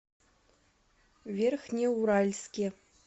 верхнеуральске